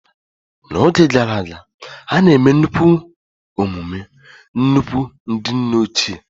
N'oge gara aga, a na-eme nnukwu emume nnukwu ndị nne ochie.